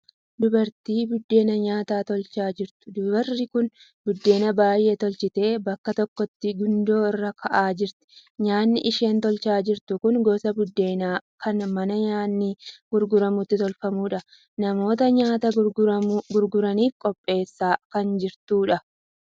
Dubartii biddeena nyaataa tolchaa jirtu. Dubariin kun biddeena baay'ee tolchitee bakka tokkotti gundoo irra kaa'aa jirti. Nyaanni isheen tolchaa jirtu kun gosa biddeenaa kan mana nyaanni gurguramutti tolfamudha. Namoota nyaata gurguraniif qopheessaa kan jirtudha.